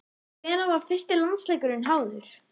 En hvenær var fyrsti landsleikurinn háður?